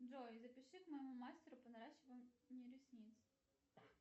джой запиши к моему мастеру по наращиванию ресниц